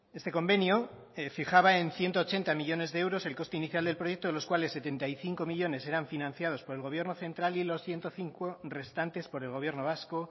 este convenio fijaba en ciento ochenta millónes de euros el coste inicial del proyecto de los cuales setenta y cinco millónes eran financiados por el gobierno central y los ciento cinco restantes por el gobierno vasco